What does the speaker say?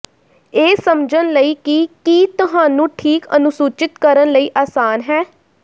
ਇਹ ਸਮਝਣ ਲਈ ਕਿ ਕੀ ਤੁਹਾਨੂੰ ਠੀਕ ਅਨੁਸੂਚਿਤ ਕਰਨ ਲਈ ਆਸਾਨ ਹੈ